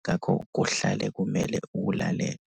ngakho kuhlale kumele uwulalele.